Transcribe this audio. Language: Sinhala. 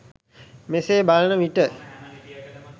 මෙසේ බලන විට